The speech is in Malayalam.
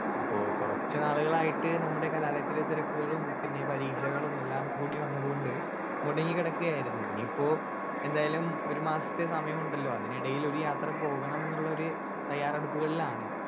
സ്പീക്കർ 1 അപ്പൊ കൊറച്ച് നാളുകളായിട്ട് നമ്മുടെ കലാലയത്തിലെ തിരക്കുകളും പിന്നെ പരീക്ഷകളും എല്ലാം കൂടി വന്നത് കൊണ്ട് മുടങ്ങി കെടക്കായിരുന്നു ഇനീപ്പോ എന്തായാലും ഒരു മാസത്തെ സമയമുണ്ടലോ അതിനിടയിൽ ഒരു യാത്ര പോകണമെന്നുള്ളൊരു തയ്യാറെടുപ്പുകളിലാണ്.